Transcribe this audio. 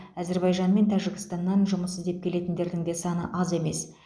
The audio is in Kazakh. әзербайжан мен тәжікстаннан жұмыс іздеп келетіндердің де саны аз емес